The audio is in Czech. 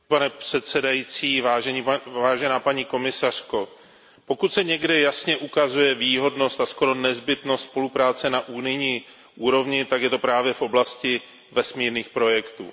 Pane předsedající, paní komisařko, pokud se někde jasně ukazuje výhodnost a skoro nezbytnost spolupráce na unijní úrovni, tak je to právě v oblasti vesmírných projektů.